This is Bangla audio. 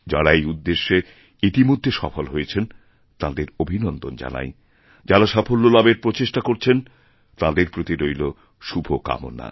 যাঁরা এই উদ্দেশ্যে ইতিমধ্যে সফলহয়েছেন তাঁদের অভিনন্দন জানাই যাঁরা সাফল্য লাভের প্রচেষ্টা করছেন তাঁদের প্রতিরইল শুভকামনা